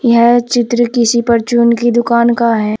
यह चित्र किसी परचून की दुकान का है।